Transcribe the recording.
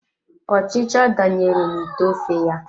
Ọchịcha danyere na ite ofe ya.